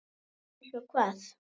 Einsog hvað?